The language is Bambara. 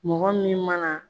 Mɔgɔ min mana